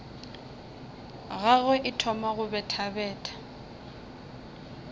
gagwe e thoma go bethabetha